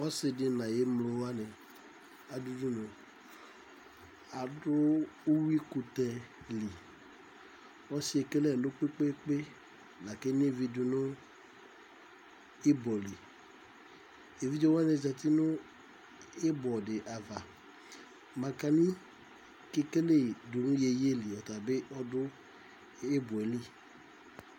ɔsɩɗɩ nʊ aƴʊ emlowanɩ atanɩ ɗʊ ʊɗʊnʊ nʊ ʊƴʊɩƙʊtɛ ɗɩlɩ ɔsɩɛ eƙele ɛlʊ ƙpeƙpeeƙpe ƙʊ enʊɩʋɩ ɗʊnʊ ɩɓɔlɩ eʋɩɗjewanɩ atanɩzatɩ nʊ ɩɓɔ aʋa manƙanɩ ɓɩ ɔɗʊ ɩɓɔƴɛlɩ